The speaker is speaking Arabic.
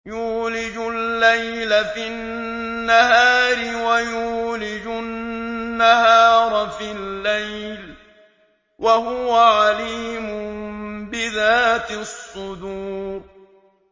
يُولِجُ اللَّيْلَ فِي النَّهَارِ وَيُولِجُ النَّهَارَ فِي اللَّيْلِ ۚ وَهُوَ عَلِيمٌ بِذَاتِ الصُّدُورِ